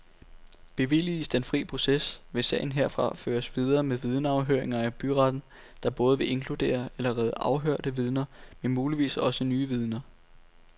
Bevilliges den fri proces, vil sagen herfra føres videre med vidneafhøringer i byretten, der både vil inkludere allerede afhørte vidner, men muligvis også nye vidner.